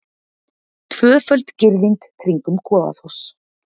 Tvöföld girðing kringum Goðafoss